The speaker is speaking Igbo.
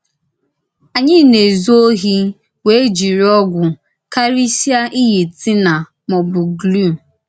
Ànyị na-ezù òhì wèè jìrì ògwù, kàrìsìá ìyì thinnèr ma ọ bụ glùù.